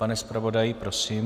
Pane zpravodaji, prosím.